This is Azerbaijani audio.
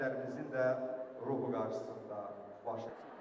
Şəhidlərimizin də ruhu qarşısında baş əyirik.